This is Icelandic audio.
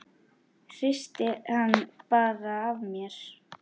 Hristi hann bara af mér.